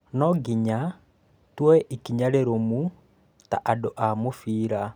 Nonginya tuoe ikinya rĩrũmu ta andũ a mũbira